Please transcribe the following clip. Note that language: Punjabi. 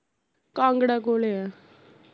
ਕਾਂਗੜਾ ਕੋਲੇ ਐ